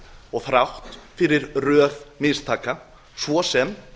og þrátt fyrir röð mistaka svo sem